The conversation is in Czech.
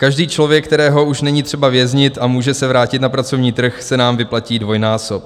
Každý člověk, kterého už není třeba věznit a může se vrátit na pracovní trh, se nám vyplatí dvojnásob.